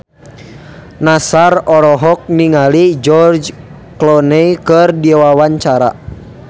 Nassar olohok ningali George Clooney keur diwawancara